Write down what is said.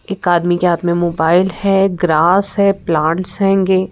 एक आदमी के हाथ में मोबाइल है ग्रास है प्लांट्स हैंगे।